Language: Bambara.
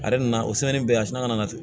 Ale yɛrɛ nana o bɛɛ a sina ka na ten